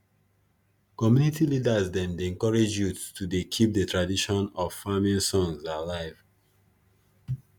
community leaders dem dey encourage youth to dey keep de tradition of farm songs alive